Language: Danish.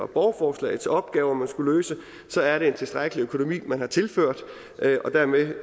borgerforslagets opgaver man skal løse så er det en tilstrækkelig økonomi man har tilført og dermed